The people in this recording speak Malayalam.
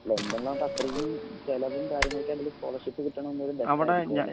ല്ലൻ്റെല്ലാവുമ്പോ അത്രേയും ചെലവും കാര്യങ്ങൾക്കാണെങ്കില് സ്കോളർഷിപ്പ് കിട്ടണന്ന് പറയുമ്പോ ബെസ്റ്റാരിക്കും